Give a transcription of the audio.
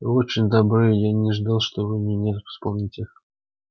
вы очень добры я не ждал что вы меня вспомните